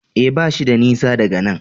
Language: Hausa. E, bashi da nisa daga nan.